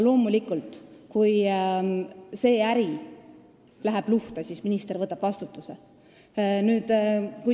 Loomulikult, kui see äri läheb luhta, siis minister võtab vastutuse.